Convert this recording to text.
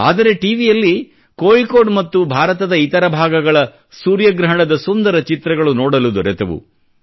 ಆದರೆ ಟಿ ವಿಯಲ್ಲಿ ಕೋಳಿóಕೋಡ್ ಮತ್ತು ಭಾರತದ ಇತರ ಭಾಗಗಳ ಸೂರ್ಯಗ್ರಹಣದ ಸುಂದರ ಚಿತ್ರಗಳು ನೋಡಲು ದೊರೆತವು